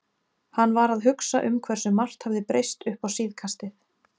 Hann var að hugsa um hversu margt hafði breyst uppá síðkastið.